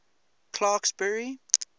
clarksburry